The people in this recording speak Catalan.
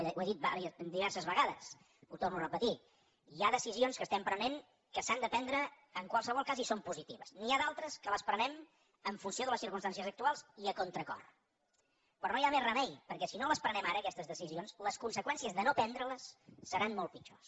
vaja ho he dit diverses vegades ho torno a repetir hi ha decisions que estem prenent que s’han de prendre en qualsevol cas i són positives n’hi ha d’altres que les prenem en funció de les circumstàncies actuals i a contracor però no hi ha més remei perquè si no les prenem ara aquestes decisions les conseqüències de no prendreles seran molt pitjors